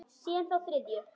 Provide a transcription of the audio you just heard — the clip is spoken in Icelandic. Síðan þá þriðju.